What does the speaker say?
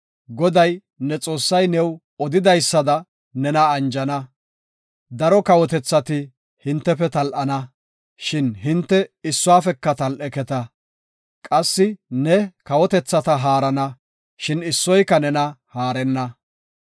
Goday, ne Xoossay new odidaysada nena anjana; daro kawotethati hintefe tal7ana, shin hinte issuwafeka tal7eketa. Qassi ne kawotethata haarana, shin issoyka nena haarenna.